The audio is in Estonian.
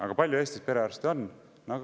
Aga kui palju Eestis perearste on?